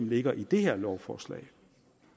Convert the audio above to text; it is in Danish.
ligger i det her lovforslag